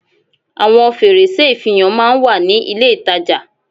Àwon fèrèsé ìfihàn máa n wà ní ilé ìtajà